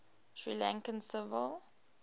sri lankan civil